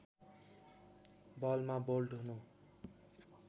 बलमा बोल्ड हुनु